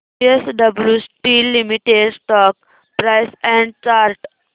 JSW steel limited stock price and chart